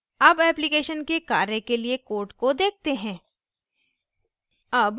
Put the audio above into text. अब application के कार्य के लिए code को देखते हैं